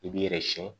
I b'i yɛrɛ siyɛn